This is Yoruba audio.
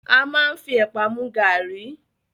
A máa ń fi ẹ̀pà mu gàárì